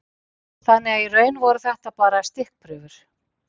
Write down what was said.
Þannig að í raun voru þetta bara stikkprufur.